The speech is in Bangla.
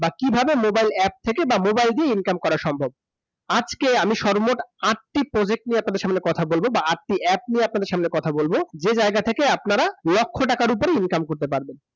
বা কীভাবে mobile app থেকে বা mobile দিয়ে income করা সম্ভব । আজকে আমি সর্বমোট আঁটটি project নিয়ে আপনাদের সামনে কথা বলবো বা আঁটটি app নিয়ে আপনাদের সামনে কথা বলবো, যে জায়গা থেকে আপনারা লক্ষ টাকার উপরে income করতে পারবেন ।